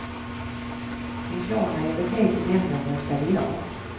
En klar majoritet i nämnden röstade ja.